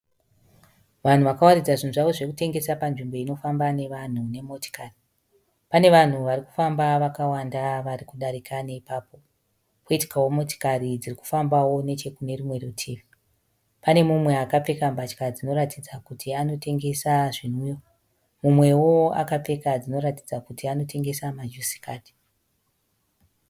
Vanhu vakawaridza zvinhu zvavo zvokutengesa panzvimbo inofamba nevanhu nemotikari. Pane vanhu vari kufamba vakawanda vari kudarika neipapo poitikawo motikari dziri kufambawo nechekune rumwe rutivi. Pane umwe akapfeka mbatya dzinoratidza kuti anotengesa zvinwiwa. Umwewo akapfeka dzinoratidza kuti anotengesa majusi kadhi.